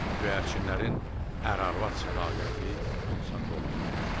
Göyərçinin ər-arvad sədaqəti insanda ola bilməz.